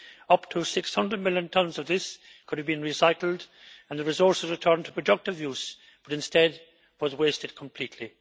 Up to 600 million tonnes of this could have been recycled and the resources returned to productive use, but instead was wasted completely.